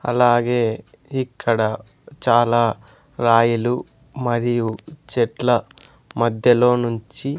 అలాగే ఇక్కడ చాలా రాయిలు మరియు చెట్ల మధ్యలో నుంచి --